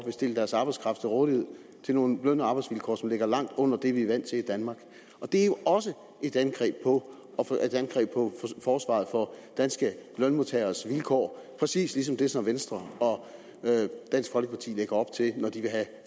vil stille deres arbejdskraft til rådighed til nogle løn og arbejdsvilkår som ligger langt under det vi er vant til i danmark og det er jo også et angreb på forsvaret for danske lønmodtageres vilkår præcis ligesom det som venstre og dansk folkeparti lægger op til når de vil have